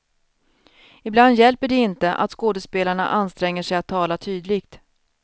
Ibland hjälper det inte att skådespelarna anstränger sig att tala tydligt.